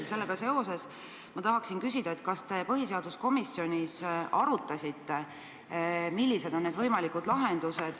Ja sellega seoses ma tahan küsida, kas te põhiseaduskomisjonis arutasite, millised on võimalikud lahendused.